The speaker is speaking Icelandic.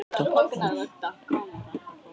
Salóme fær að dansa í þoku gleymskunnar.